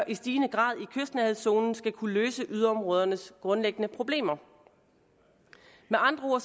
i stigende grad i kystnærhedszonen skal kunne løse yderområdernes grundlæggende problemer med andre